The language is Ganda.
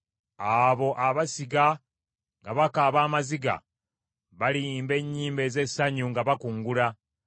Abo abasiga nga bakaaba amaziga, baliyimba ennyimba ez’essanyu nga bakungula.